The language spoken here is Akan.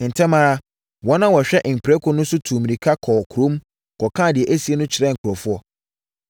Ntɛm ara, wɔn a wɔhwɛ mprako no so no tuu mmirika kɔɔ kurom, kɔkaa deɛ asie no kyerɛɛ nkurɔfoɔ.